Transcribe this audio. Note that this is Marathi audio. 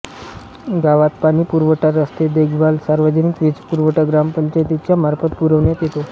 गावात पाणी पुरवठा रस्ते देखभाल सार्वजनिक वीजपुरवठा ग्रामपंचायतीच्या मार्फत पुरविण्यात येतो